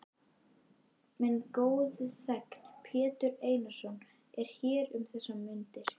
Minn góði þegn, Pétur Einarsson, er hér um þessar mundir.